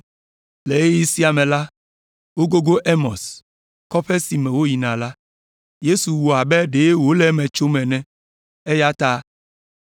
Le ɣeyiɣi sia me la, wogogo Emaus, kɔƒe si me woyina la. Yesu wɔ abe ɖe wòle eme tsom ene, eya ta